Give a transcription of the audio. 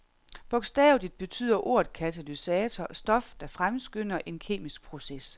Bogstaveligt betyder ordet katalysator stof, der fremskynder en kemisk proces.